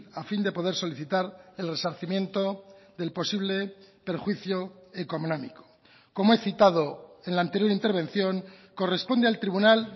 a fin de poder solicitar el resarcimiento del posible perjuicio económico como he citado en la anterior intervención corresponde al tribunal